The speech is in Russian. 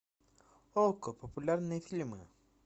окко популярные фильмы